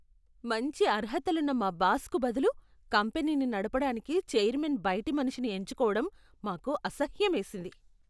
మంచి అర్హతలున్న మా బాస్కు బదులు కంపెనీని నడపడానికి చైర్మన్ బయటి మనిషిని ఎంచుకోవడం మాకు అసహ్యమేసింది.